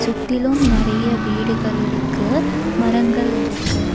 சுத்திலும் நெறைய வீடுகள் இருக்கு மரங்கள் இருக்கு.